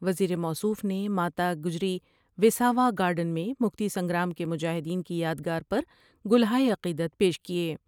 وزیر موصوف نے ما تا گجری وساوا گارڈن میں مکتی سنگرام کے مجاہدین کی یادگار پر گلہائے عقیدت پیش کیا ۔